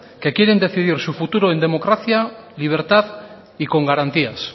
que quieren decidir su futuro en democracia libertad y con garantías